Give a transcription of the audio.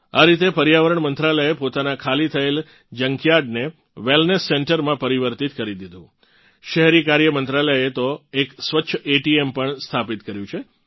આ રીતે પર્યાવરણ મંત્રાલયે પોતાનાં ખાલી થયેલ જંકયાર્ડને વેલનેસ સેન્ટરમાં પરિવર્તીત કરી દીધું શહેરી કાર્ય મંત્રાલયે તો એક સ્વચ્છ એટીએમ પણ સ્થાપિત કર્યું છે